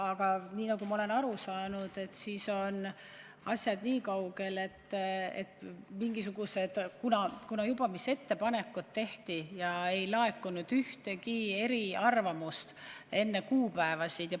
Aga nagu ma olen aru saanud, on asjad niikaugel, et ettepanekud tehti ja ei laekunud ühtegi eriarvamust enne neid kuupäevasid.